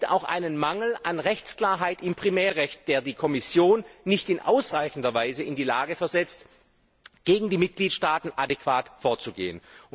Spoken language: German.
auch einen Mangel an Rechtsklarheit im Primärrecht gibt, der die Kommission nicht in ausreichender Weise in die Lage versetzt, gegen die Mitgliedstaaten adäquat vorzugehen.